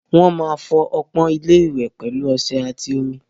Wọ́n máa fọ ọpọ́n ilé-ìwẹ̀ pẹ̀lú ọṣẹ àti omi.